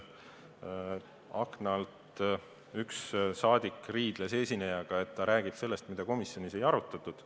Akna alt üks rahvasaadik riidles esinejaga, et ta räägib sellest, mida komisjonis ei arutatud.